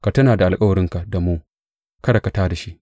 Ka tuna da alkawarinka da mu kada ka tā da shi.